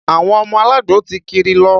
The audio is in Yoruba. Àwọn ọmọ alagbo ti kiri lọ